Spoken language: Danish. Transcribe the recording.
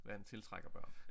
Vand tiltrækker børn